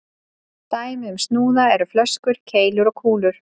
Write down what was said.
Dæmi um snúða eru flöskur, keilur og kúlur.